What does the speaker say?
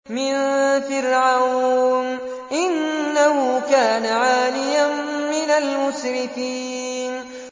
مِن فِرْعَوْنَ ۚ إِنَّهُ كَانَ عَالِيًا مِّنَ الْمُسْرِفِينَ